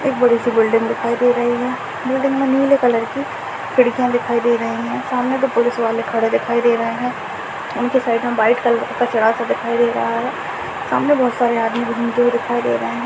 एक बड़ी सी बिल्डिंग दिखाई दे रही है बिल्डिंग में नीले कलर की खिड़कियां दिखाई दे रही है सामने दो पुलिस वाले खड़े दिखाई दे रहे है उनके साइड में व्हाइट कलर का कचरा सा दिखाई दे रहा है सामने बहुत सारे आदमी घूमते हुए दिखाई दे रहे है।